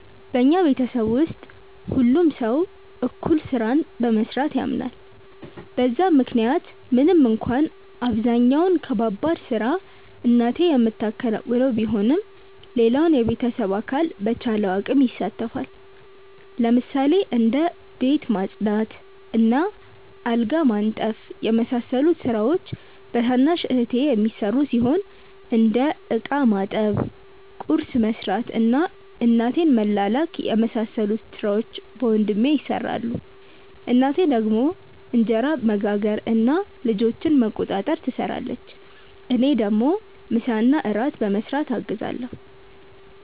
በኛ ቤተሰብ ውስጥ ሁሉም ሰው እኩል ስራን በመስራት ያምናል በዛም ምክንያት ምንም እንኳን አብዛኛውን ከባባድ ስራ እናቴ ምታከናውነው ቢሆንም ሌላውም የቤተሰብ አካል በቻለው አቅም ይሳተፋል። ለምሳሌ እንደ ቤት ማጽዳት እና አልጋ ማንጠፍ የመሳሰሉት ስራዎች በታናሽ እህቴ የሚሰሩ ሲሆን እንደ እቃ ማጠብ፣ ቁርስ መስራት እና እናቴን መላላክ የመሳሰሉት ሥራዎች በወንድሜ ይሰራሉ። እናቴ ደግሞ እንጀራ መጋገር እና ልጆችን መቆጣጠር ትሰራለች። እኔ ደግሞ ምሳና እራት በመስራት አግዛለሁ።